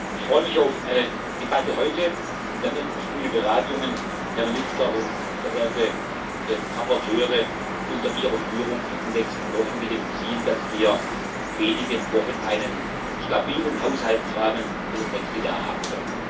Ich freue mich auf eine Debatte heute und dann auf gute Beratungen, Herr Minister und verehrte Berichterstatter, unter Ihrer Führung in den nächsten Wochen, mit dem Ziel, dass wir in wenigen Wochen einen stabilen Haushaltsrahmen für das nächste Jahr haben werden.